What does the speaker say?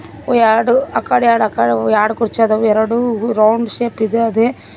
ಹಾಗು ಎರ್ಡು ಆ ಕಡೆ ಎರ್ಡು ಅ ಕಡೆ ಎರ್ಡ್ ಕುರ್ಚಿ ಅದವು ಎರಡು ರೌಂಡ್ ಶೇಪ್ ಇದೆ ಅದೆ.